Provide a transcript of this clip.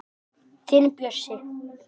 Þinn Bjössi.